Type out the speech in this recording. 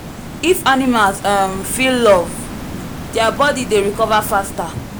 if animals um feel love their body dey recover faster.